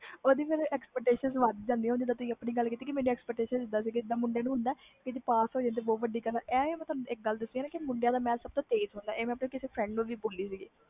ਓਹਦੀ expectations ਫਿਰ ਵੱਧ ਜਾਂਦੀ ਆ ਜਿਵੇ ਤੁਸੀ ਹੁਣਿ ਬੋਲਿਆ ਕਿ ਮੈਂ ਸੋਚਿਆ ਸੀ ਮੁੰਡਿਆਂ ਨੂੰ ਹੁੰਦਾ ਪਾਸ ਹੋ ਗਏ ਬਹੁਤ ਵੱਡੀ ਗੱਲ ਆ